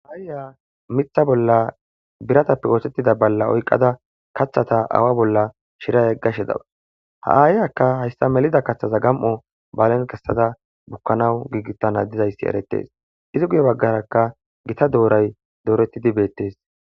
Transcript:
Haiya mitha bolla biratappe oothettida balla oyqada kathata awa bolla shirayeggashe dawus ha aayiyaka hayssa melida kaththaza gam7o baalen kessada bukkanawu giigitana dizayssi eretes izi guye baggarakka gita dooray dooretidi beettes